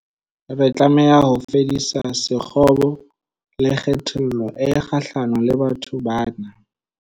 Re tlameha ho fedisa sekgobo le kgethollo e kgahlano le batho bana.